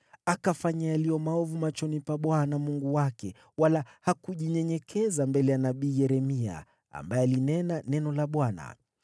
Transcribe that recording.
Alifanya maovu machoni pa Bwana Mungu wake, wala hakujinyenyekeza mbele ya nabii Yeremia, ambaye alinena neno la Bwana .